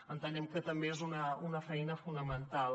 entenem que també és una feina fonamental